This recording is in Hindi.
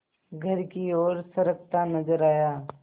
घर की ओर सरकता नजर आया